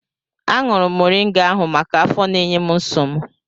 Aṅụrụ m moringa ahụ maka afọ na-enye m nsogbu.